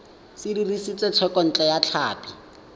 se dirisitswe thekontle ya tlhapi